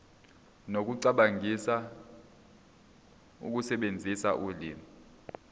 nokucabangisisa ukusebenzisa ulimi